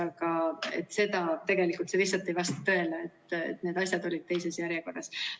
Nii et see lihtsalt ei vasta tõele, need asjad olid teises järjekorras.